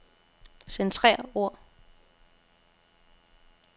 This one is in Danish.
Centrer ord.